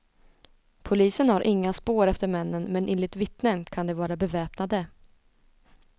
Polisen har inga spår efter männen men enligt vittnen kan de vara beväpnade.